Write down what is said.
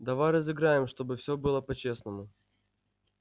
давай разыграем чтобы все было по-честному